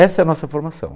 Essa é a nossa formação.